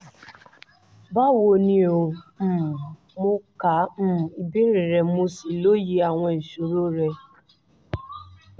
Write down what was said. báwo ni o? um mo ka um ìbéèrè rẹ mo sì lóye àwọn ìṣòro rẹ